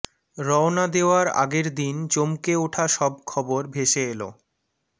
রওনা দেওয়ার আগের দিন চমকে ওঠা সব খবর ভেসে এল